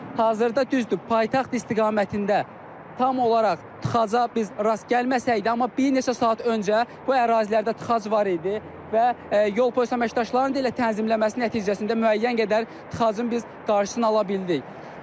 Hazırda düzdür, paytaxt istiqamətində tam olaraq tıxaca biz rast gəlməsək də, amma bir neçə saat öncə bu ərazilərdə tıxac var idi və yol polisi əməkdaşlarının da elə tənzimləməsi nəticəsində müəyyən qədər tıxacın biz qarşısını ala bildik.